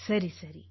ಸರಿ ಸರಿ